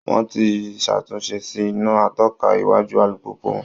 Wọ́n ti ṣàtúnṣe sí iná atọ́ka iwájú alùpùpù wọn